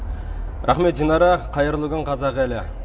рахмет динара қайырлы күн қазақ елі